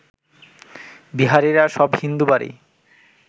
বিহারিরা সব হিন্দু বাড়ি